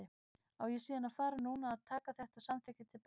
Á ég síðan að fara núna að taka þetta samþykki til baka?